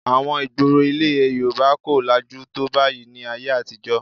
Àwọn ìgboro ilẹ̀ Yorùbá kò lajú tó báyìí ní ayé àtijọ́